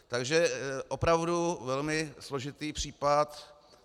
Takže opravdu velmi složitý případ.